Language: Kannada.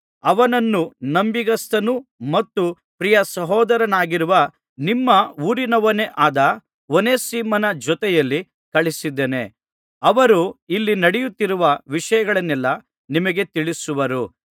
ಅವನನ್ನು ನಂಬಿಗಸ್ತನು ಮತ್ತು ಪ್ರಿಯ ಸಹೋದರನಾಗಿರುವ ನಿಮ್ಮ ಊರಿನವನೇ ಆದ ಓನೇಸಿಮನ ಜೊತೆಯಲ್ಲಿ ಕಳುಹಿಸಿದ್ದೇನೆ ಅವರು ಇಲ್ಲಿ ನಡೆಯುತ್ತಿರುವ ವಿಷಯಗಳನ್ನೆಲ್ಲಾ ನಿಮಗೆ ತಿಳಿಸುವರು